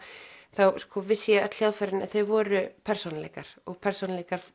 þá vissi ég öll hljóðfærin en þau voru persónuleikar persónuleikar